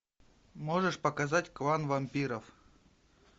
можешь показать клан вампиров